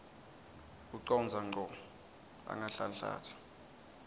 ucondza ngco angahlanhlatsi